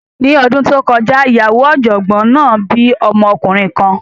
Ní ọdún tó kọjá, ìyàwó ọ̀jọ̀gbọ́n náà bí ọmọkùnrin kan.